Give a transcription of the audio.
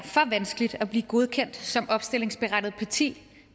vanskeligt at blive godkendt som opstillingsberettiget parti